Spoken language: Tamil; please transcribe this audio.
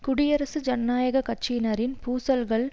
குடியரசு ஜனநாயக கட்சியினரின் பூசல்கள்